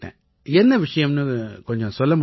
என்ன விஷயம்னு கொஞ்சம் சொல்ல முடியுமா